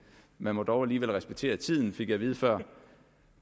man må dog alligevel respektere tiden fik jeg at vide før